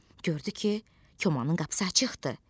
Gördü ki, komanın qapısı açıqdır.